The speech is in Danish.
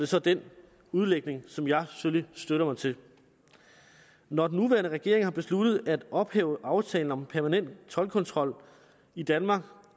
så den udlægning som jeg selvfølgelig støtter mig til når den nuværende regering har besluttet at ophæve aftalen om permanent toldkontrol i danmark